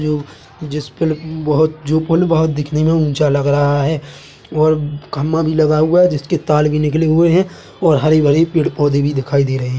जो जिस पे ल बहोत जो पुल बहोत दिखने में ऊंचा लग रहा है और खम्मा भी लगा हुआ है जिस के तार निकले हुए है और हरे-भरे पेड़-पौधे भी दिखाई दे रहे है।